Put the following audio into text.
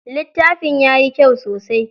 Littafin yayi kyau sosai.